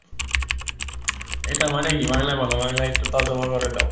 এটার মানে কি? বাংলায় বলো, বাংলায় একটু করে দাও।